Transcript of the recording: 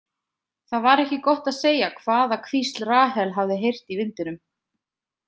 Það var ekki gott að segja hvaða hvísl Rahel hafði heyrt í vindinum.